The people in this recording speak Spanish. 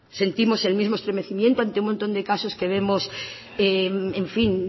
sentimos el mismo estremecimiento ante un montón de casos que vemos en fin